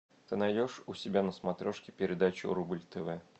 ты найдешь у себя на смотрешке передачу рубль тв